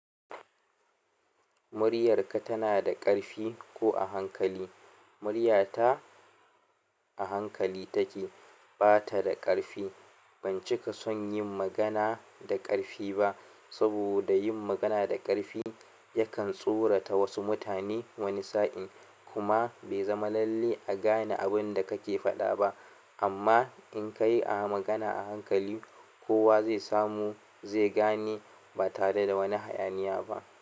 Muryarka tana da ƙarfi ko a hankali? Muryata a hankali take, bata da ƙarfi. Bancika son yin magana da ƙarfi ba, saboda yin magana da ƙarfi yakan tsorata wasu mutane wani sa'in kuma bai zama lallai a gane abinda kake faɗa ba. Amma in ka yi magana a hankali, kowa zai samu zai gane ba tare da wani hayaniya ba.